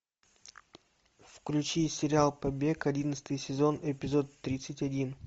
включи сериал побег одиннадцатый сезон эпизод тридцать один